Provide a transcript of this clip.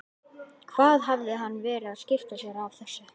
Hvað hafði hann verið að skipta sér af þessu?